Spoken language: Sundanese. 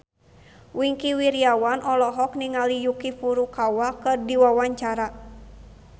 Wingky Wiryawan olohok ningali Yuki Furukawa keur diwawancara